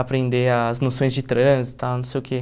aprender as noções de trânsito e tal, não sei o quê.